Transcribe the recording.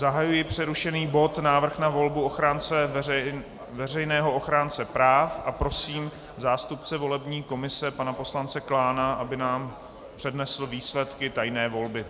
Zahajuji přerušený bod Návrh na volbu veřejného ochránce práv a prosím zástupce volební komise pana poslance Klána, aby nám přednesl výsledky tajné volby.